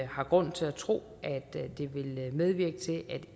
har grund til at tro at det vil medvirke til at